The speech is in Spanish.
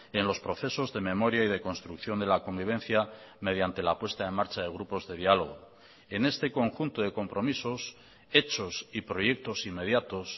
en los procesos de memoria y de construcción de la convivencia mediante la puesta en marcha de grupos de diálogo en este conjunto de compromisos hechos y proyectos inmediatos